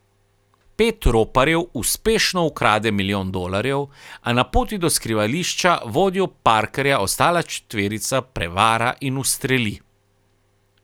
Pet roparjev uspešno ukrade milijon dolarjev, a na poti do skrivališča vodjo Parkerja ostala četverica prevara in ustreli.